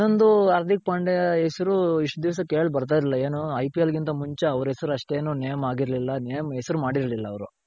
"ಇನ್ನೊಂದು ಹಾರ್ದಿಕ್ ಪಾಂಡೆಯ ಹೆಸರು ಇಷ್ಟ ದಿಸ ಕೇಳ ಬರ್ತಿರ್ಲಿಲ್ಲ ಏನು IPL ಗಿಂತ